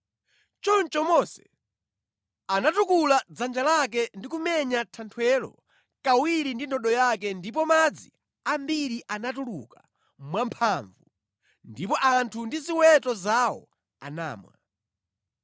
Choncho Mose anatukula dzanja lake ndi kumenya thanthwelo kawiri ndi ndodo yake ndipo madzi ambiri anatuluka mwamphamvu, ndipo anthu ndi ziweto zawo anamwa.